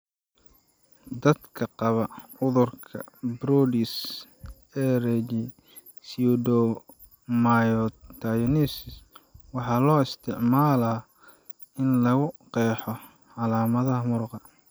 Dadka qaba cudurka Brody,s ereyga pseudomyotonias waxaa loo isticmaalaa in lagu qeexo calaamadaha muruqa.